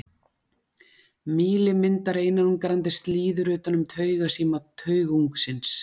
Mýli myndar einangrandi slíður utan um taugasíma taugungsins.